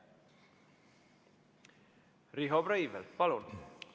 Riho Breivel, palun!